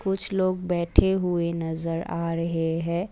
कुछ लोग बैठे हुए नजर आ रहे है।